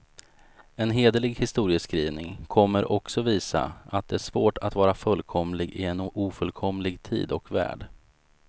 En hederlig historieskrivning kommer också visa, att det är svårt att vara fullkomlig i en ofullkomlig tid och värld.